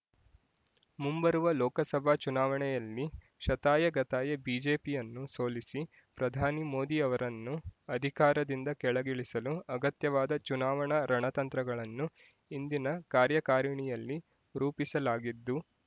ಮುಂಬರುವ ಲೋಕಸಭಾ ಚುನಾವಣೆಯಲ್ಲಿ ಶತಾಯಗತಾಯ ಬಿಜೆಪಿಯನ್ನು ಸೋಲಿಸಿ ಪ್ರಧಾನಿ ಮೋದಿ ಅವರನ್ನು ಅಧಿಕಾರದಿಂದ ಕೆಳಗಿಳಿಸಲು ಅಗತ್ಯವಾದ ಚುನಾವಣಾ ರಣತಂತ್ರಗಳನ್ನು ಇಂದಿನ ಕಾರ್ಯಕಾರಿಣಿಯಲ್ಲಿ ರೂಪಿಸಲಾಗಿದ್ದು